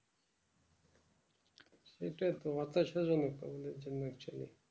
এটা তো হতাশা জনক আমাদের জন্য actually